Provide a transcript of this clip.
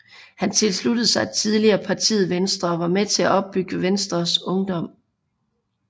Han tilsluttede sig tidligt partiet Venstre og var med til at opbygge Venstres Ungdom